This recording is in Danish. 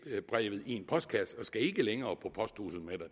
brevet i en postkasse man skal ikke længere på posthuset med